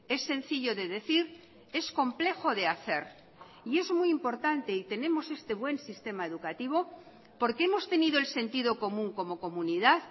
es sencillo de decir es complejo de hacer y es muy importante y tenemos este buen sistema educativo porque hemos tenido el sentido común como comunidad